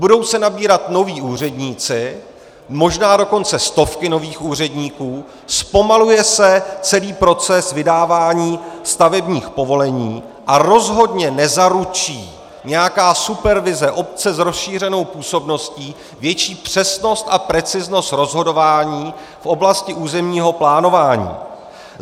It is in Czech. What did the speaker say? Budou se nabírat noví úředníci, možná dokonce stovky nových úředníků, zpomaluje se celý proces vydávání stavebních povolení a rozhodně nezaručí nějaká supervize obce s rozšířenou působností větší přesnost a preciznost rozhodování v oblasti územního plánování.